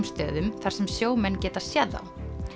stöðum þar sem sjómenn geta séð þá